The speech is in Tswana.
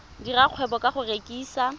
dira kgwebo ka go rekisa